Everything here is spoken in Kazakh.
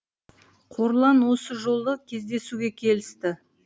қорлан осы жолы кездесуге келісті